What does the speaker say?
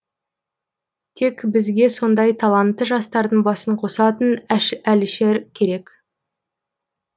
тек бізге сондай талантты жастардың басын қосатын әлішер керек